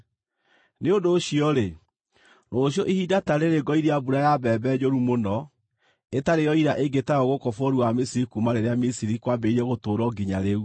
Nĩ ũndũ ũcio-rĩ, rũciũ ihinda ta rĩĩrĩ ngoiria mbura ya mbembe njũru mũno, ĩtarĩ yoira ĩngĩ tayo gũkũ bũrũri wa Misiri kuuma rĩrĩa Misiri kwambĩrĩirie gũtũũrwo nginya rĩu.